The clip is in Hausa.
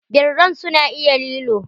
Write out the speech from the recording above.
Birran su na iya lilo?